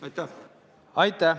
Aitäh!